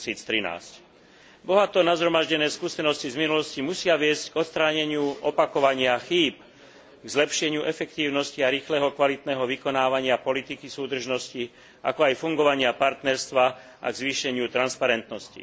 2013. Bohato nazhromaždené skúsenosti z minulosti musia viesť k odstráneniu opakovania chýb, k zlepšeniu efektívnosti a rýchleho a kvalitného vykonávania politiky súdržnosti, ako aj fungovania partnerstva a k zvýšeniu transparentnosti.